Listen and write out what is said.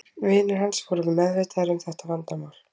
Vinir hans voru vel meðvitaðir um þetta vandamál.